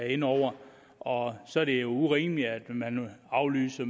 inde over og så er det jo urimeligt at man aflyser